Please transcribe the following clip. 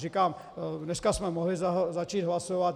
Říkám, dneska jsme mohli začít hlasovat.